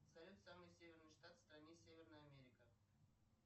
салют самый северный штат в стране северная америка